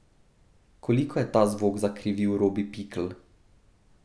Koliko je ta zvok zakrivil Robi Pikl?